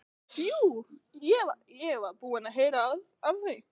Jú, ég var búinn að heyra af því.